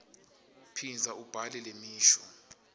phindza ubhale lemisho